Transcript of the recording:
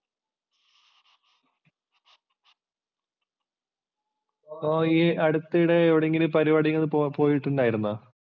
അപ്പോൾ ഈ അടുത്തിടെ എവിടെങ്കിലും പരിപാടി പോയിട്ടുണ്ടായിരുന്നോ?